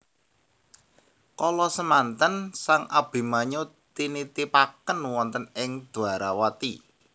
Kala semanten sang Abimanyu tinitipaken wonten ing Dwarawati